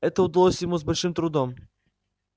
это удалось ему с большим трудом